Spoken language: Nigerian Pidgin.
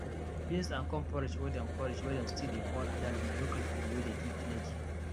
beans and corn porridge wey dem porridge wey dem still dey call adalu na local food wey dey give energy